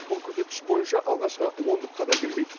бұл көрсеткіш бойынша алғашқы ондыққа да кірмейді